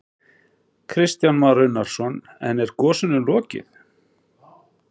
Kristján Már Unnarsson: En er gosinu lokið?